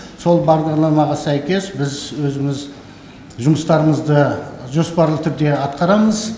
сол бағдарламаға сәйкес біз өзіміз жұмыстарымызды жоспарлы түрде атқарамыз